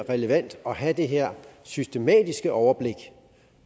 relevant at have det her systematiske overblik